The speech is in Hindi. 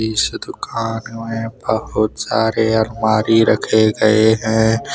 इस दुकान में बहुत सारे अलमारी रखे गए है।